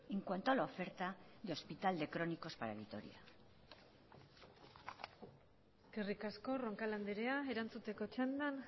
en cuanto a la oferta de hospital de crónicos para vitoria eskerrik asko roncal andrea erantzuteko txandan